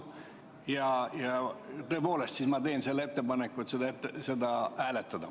Ja tõepoolest, ma teen nüüd ettepaneku seda küsimust hääletada.